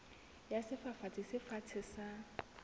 ya sefafatsi se fatshe sa